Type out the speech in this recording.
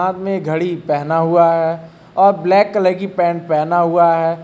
उने घड़ी पहना हुआ है और ब्लैक कलर की पेंट पहना हुआ है।